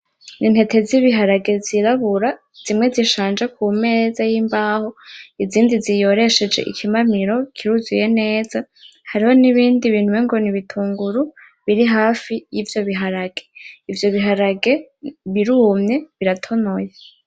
Intete z'ibiharage z'irabura zimwe zishaje kumeza y'imbaho izindi ziyoreshejwe ikimamiro kiruzuye neza, hari nibindi umengo nibitunguru biri hafi y'ivyo biharage; ivyo biharage birumye biratonoye.